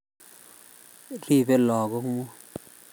Ribei Lagok mut